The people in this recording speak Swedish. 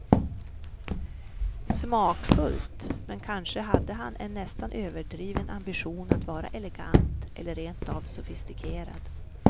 Smakfullt, men kanske hade han en nästan överdriven ambition att vara elegant eller rent av sofistikerad.